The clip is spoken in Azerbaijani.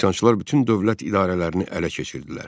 Üsyançılar bütün dövlət idarələrini ələ keçirdilər.